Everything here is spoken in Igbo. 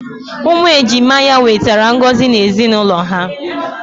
Umu ejima ya nwetara ngozi na ezinaulo ha.